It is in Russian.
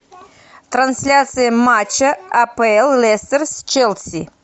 трансляция матча апл лестер с челси